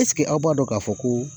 Ɛseke aw b'a dɔn k'a fɔ ko